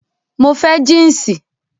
Mo fẹ́ jínsì